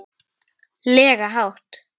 lega hátt.